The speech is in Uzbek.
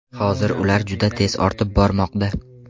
Hozir ular juda tez ortib bormoqda.